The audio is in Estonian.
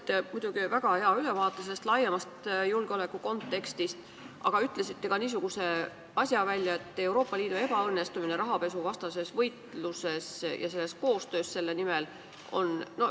Te andsite väga hea ülevaate laiemast julgeolekukontekstist, aga ütlesite välja ka niisuguse asja, et Euroopa Liidu ebaõnnestumine rahapesuvastases võitluses ja koostöös selle nimel on ...